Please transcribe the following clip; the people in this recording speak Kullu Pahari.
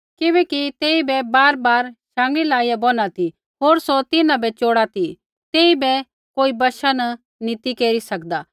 किबैकि तेइबै बारबार शाँगीयै लाइया बोना ती होर सौ तिन्हां बै च़ोड़ा ती तेइबै कोई वशा न नी ती केरी सकदा